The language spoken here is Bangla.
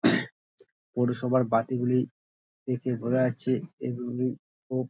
পৌরসভার বাতিগুলি দেখে বোঝা যাচ্ছে এইগুলি খুব --